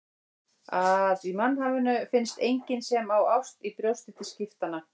Að í mannhafinu finnist enginn sem á ást í brjósti til skiptanna.